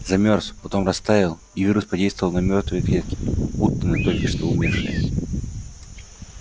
замёрз потом растаял и вирус подействовал на мёртвые клетки будто на только что умершие